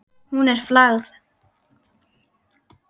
Hún er flagð.